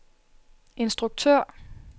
instruktør